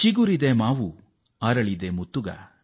ಚಿಗುರಿದೆ ಮಾವು ಅರಳಿದೆ ಮುತ್ತುಗ